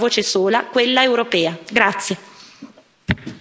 Per ottenerlo dovremo parlare con una voce sola, quella europea.